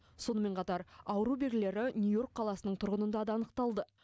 сонымен қатар ауру белгілері нью йорк қаласының тұрғынында да анықталды